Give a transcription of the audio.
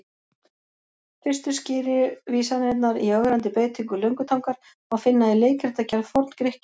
Fyrstu skýru vísanirnar í ögrandi beitingu löngutangar má finna í leikritagerð Forn-Grikkja.